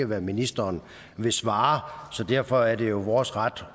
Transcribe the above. hvad ministeren vil svare derfor er det vores ret